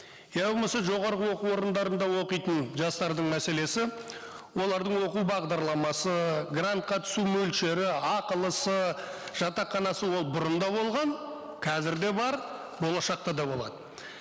я болмаса жоғарғы оқу орындарында оқитын жастардың мәселесі олардың оқу бағдарламасы грантқа түсу мөлшері ақылысы жатақханасы ол бұрын да болған қазір де бар болашақта да болады